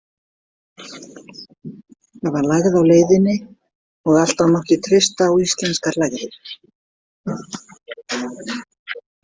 Það var lægð á leiðinni og alltaf mátti treysta á íslenskar lægðir.